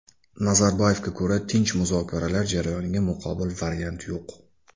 Nazarboyevga ko‘ra, tinch muzokaralar jarayoniga muqobil variant yo‘q.